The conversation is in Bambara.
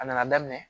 A nana daminɛ